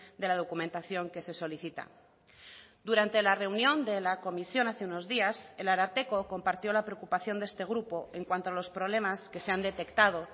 de la documentación que se solicita durante la reunión de la comisión hace unos días el ararteko compartió la preocupación de este grupo en cuanto a los problemas que se han detectado